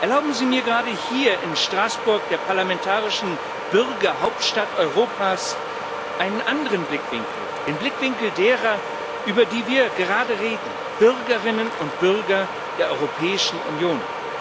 Erlauben Sie mir gerade hier in Straßburg, der parlamentarischen Bürgerhauptstadt Europas, einen anderen Blickwinkel, den Blickwinkel derer, über die wir gerade reden, Bürgerinnen und Bürger der Europäischen Union.